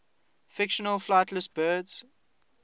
fictional flightless birds